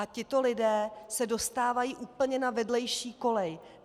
A tito lidé se dostávají úplně na vedlejší kolej.